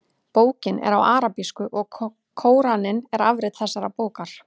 Bókin er á arabísku og Kóraninn er afrit þessarar bókar.